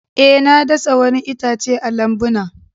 Eh, na dasa wani itace a lambuna.